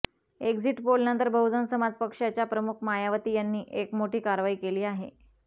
exit पोलनंतर बहुजन समाज पक्षाच्या प्रमुख मायावाती यांनी एक मोठी कारवाई केली आहे